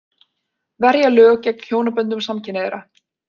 Verja lög gegn hjónaböndum samkynhneigðra